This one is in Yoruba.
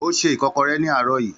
Ó ṣe ikokore ní àárọ̀ yìí